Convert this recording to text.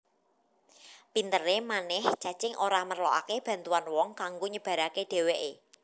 Pinteré manèh cacing ora merlokaké bantuan wong kanggo nyebaraké dhèwèké